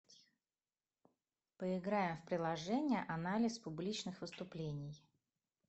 поиграем в приложение анализ публичных выступлений